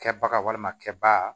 Kɛbaga walima kɛ ba